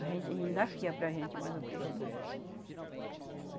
A gente ainda fia para a gente, mas o peixe não.